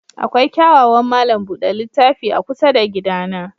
Akwai kyawawan malam buɗe littafi a kusa da gidana.